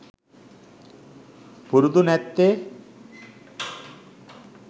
පුරුදු නැත්තේ .